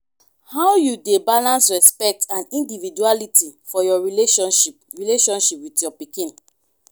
how you dey balance respect and individuality for your relationship relationship with your pikin?